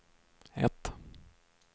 ett